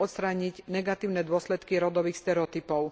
odstrániť negatívne dôsledky rodových stereotypov.